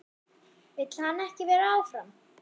Vill hann ekki vera áfram?